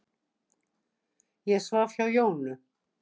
Ég svaf hjá Jónu.